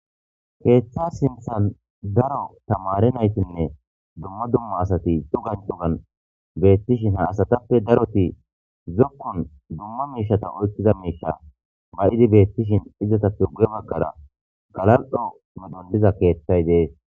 keeththa sinthan daro tamari naytinne dumma dumma asati cugan cugan beettishin haasatappe daroti zokkun dumma meishata oykkiza meisha bayidi beettishin izata tugge baggara galal7o midholiza keeththay dees